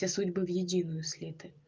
все судьбы в единую слиты